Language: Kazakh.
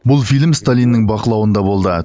бұл фильм сталиннің бақылауында болды